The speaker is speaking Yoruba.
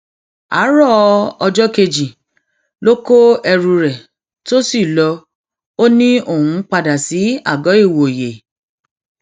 àárọ ọjọ kejì ló kó ẹrù rẹ tó sì lò ó ni òun ń padà sí àgọìwòye